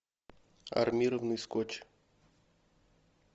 армированный скотч